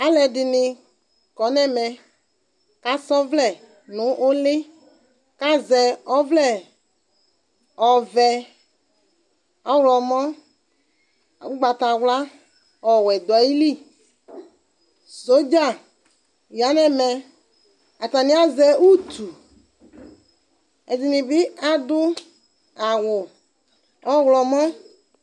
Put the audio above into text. Alʋɛdini kɔnʋ ɛmɛ kʋ asɔ ɔvlɛ nʋ ʋli kʋ azɛ ɔvlɛ ɔvɛ ɔwlɔmɔ ugbatawla ɔwɛ dʋ ayili sɔdza yanʋ ɛmɛ atani azɛ ʋtʋ ɛdini bi adʋ awʋ ɔwlɔmɔ